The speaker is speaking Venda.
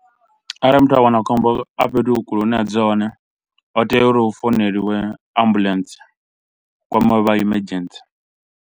Arali muthu a wana khombo a fhethu kule hune a dzula hone ho tea uri hu founeliwe ambulentsi, hu kwamiwe vha emergency.